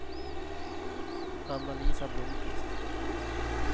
Anna-Lisa Blomkvist